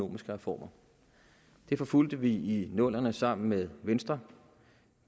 reformer det forfulgte vi i nullerne sammen med venstre